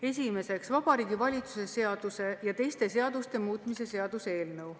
Esimeseks, Vabariigi Valitsuse seaduse ja teiste seaduste muutmise seaduse eelnõu.